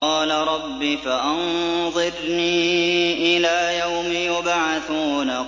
قَالَ رَبِّ فَأَنظِرْنِي إِلَىٰ يَوْمِ يُبْعَثُونَ